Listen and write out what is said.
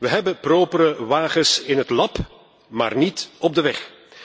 We hebben propere wagens in het lab, maar niet op de weg.